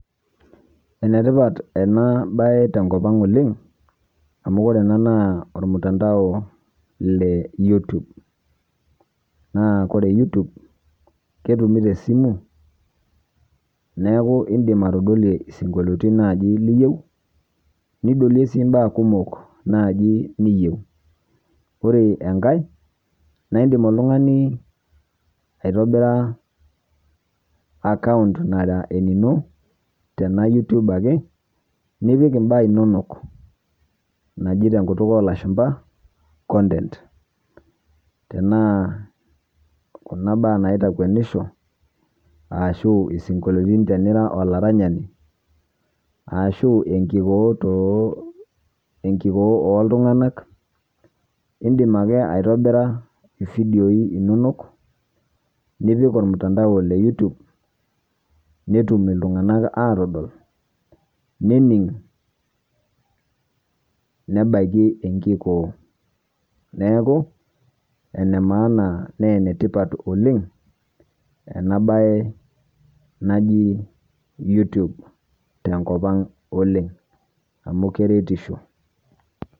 Ene tipat ena baye tenkop ang' oleng' amu ore ena naa ormutandao le youtube, naa kore youtube ketumi te simu neeku indim atodolie isinkolioitin naaji liyeu, nidolie sii mbaa kumok naji niyeu. Ore enkae nae indim oltung'ani aitobira account nara enino tena youtube ake nipik mbaa inonok naji te nkutuk oo lashumba content, tenaa kuna baa naitakwenisho ashu isinkolioitin tenira olaranyani, ashu enkikoo too enkikoo oltung'anak. Indim ake aitobira ividioi inonok nipik ormutandao le youtube netum iltung'anak aatodol, nening', nebaiki enkikoo. Neeku ene maana nee ene tipat oleng' ena baye naji youtube tenkop ang' oleng' amu keretisho.